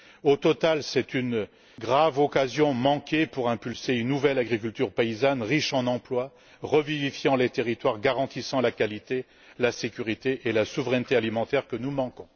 Au final, c'est une grave occasion manquée pour instaurer une nouvelle agriculture paysanne, riche en emplois, revivifiant les territoires, garantissant la qualité, la sécurité et la souveraineté alimentaire dont nous manquons.